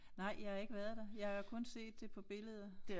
Nej jeg har ikke været der jeg har kun set det på billeder